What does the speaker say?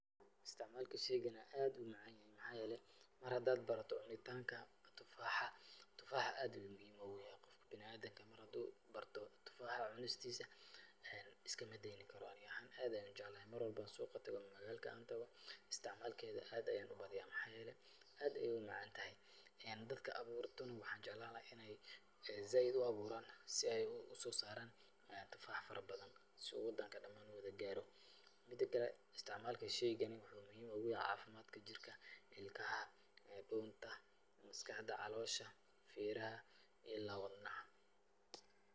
Istacmaalka shaygani aad ayuu u macaan yahay. Maxaa yeelay, mar hadaad barato cunitaanka tufaaxa, tufaaxa aad ayuu muhiim ugu yahay qofka bina'aadinka. Mar haduu barto tufaaxa cunistiisa, iskamadeyni karo. Ani ahaan aad ayaan u jeclahay. Mar walbo aan suuqa tago ama magaalka aan tago, istacmaalkeeda aad ayaan u badiyaa. Maxaa yeelay, aad ayaay u macaantahay. Dadka abuurtana, waxaan jeclaan lahaa in ay zaaid u abuuraan si ay u soo saaraan tufax farabadan si uu wadanka dhamaan u wada gaaro. Midakale, istacmaalka shaygani waxuu muhiim ugu yahay caafimaadka jirka, ilkaha, dhunta, maskaxda, caloosha, feeraha iyo ila wadnaha.